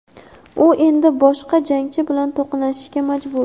U endi boshqa jangchi bilan to‘qnashishga majbur.